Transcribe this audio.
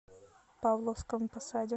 павловском посаде